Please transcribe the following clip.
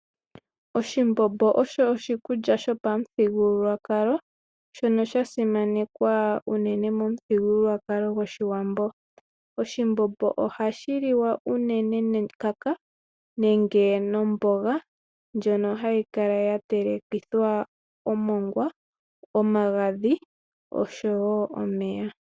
Oshimbombo osho oshi kulya sho pa muthigululwakalo, shono sha simanekwa unene mo mu thigilulwakalo go shiwambo. Oshimbombo ohashi liwa unene ne kaka nenge no mboga ndjono hayi kala ya telekithwa omongwa, omagadhi osho wo omeya.